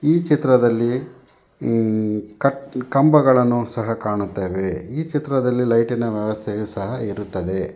ಈ ಚಿತ್ರದಲ್ಲಿ ಈ ಕಟ್ ಕಂಬಗಳನ್ನು ಸಹ ಕಾಣುತ್ತೇವೆ ಈ ಚಿತ್ರದಲ್ಲಿ ಲೈಟಿ ನ ವ್ಯವಸ್ಥೆಯು ಸಹ ಇರುತ್ತದೆ.